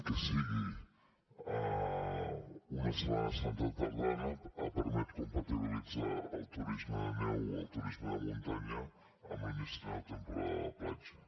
que sigui una setmana santa tardana ha permès compatibilitzar el turisme de neu o el turisme de muntanya amb l’inici de la temporada de la platja